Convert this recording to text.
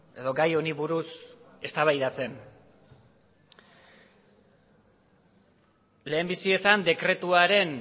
edo gai honi buruz eztabaidatzen lehenbizi esan dekretuaren